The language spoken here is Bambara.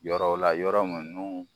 Yɔrɔw la yɔrɔ mun n'u